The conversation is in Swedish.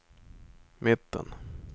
mitten